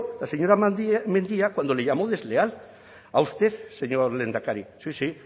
la señora mendia cuando le llamó desleal a usted señor lehendakari sí